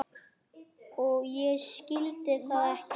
Og ég skildi það ekki.